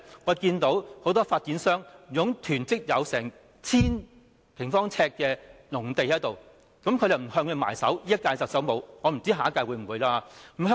我們看到很多發展商囤積達 1,000 平方呎的農地，現任特首並無向他們"埋手"——我不知道下屆特首會不會？